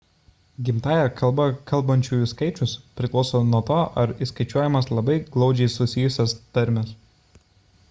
gimtąja kalba kalbančiųjų skaičius priklauso nuo to ar įskaičiuojamos labai glaudžiai susijusios tarmės